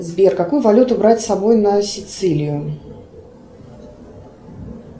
сбер какую валюту брать с собой на сицилию